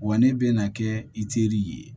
Wa ne bɛ na kɛ i teri ye